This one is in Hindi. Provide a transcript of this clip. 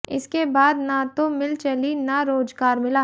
इसके बाद न तो मिल चली न रोजगार मिला